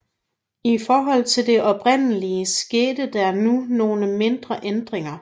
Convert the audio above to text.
I forhold til det oprindelige skete der nu nogle mindre ændringer